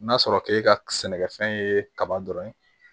N'a sɔrɔ k'e ka sɛnɛkɛfɛn ye kaba dɔrɔn ye